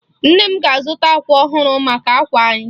Nne m ga-azụta ákwà ọhụrụ maka àkwà anyị.